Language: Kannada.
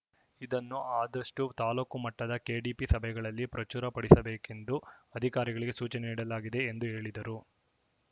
ಇದನ್ನು ಆದಷ್ಟುತಾಲೂಕು ಮಟ್ಟದ ಕೆಡಿಪಿ ಸಭೆಗಳಲ್ಲಿ ಪ್ರಚುರ ಪಡಿಸಬೇಕೆಂದು ಅಧಿಕಾರಿಗಳಿಗೆ ಸೂಚನೆ ನೀಡಲಾಗಿದೆ ಎಂದು ಹೇಳಿದರು